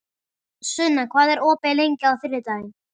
Sunna, hvað er opið lengi á þriðjudaginn?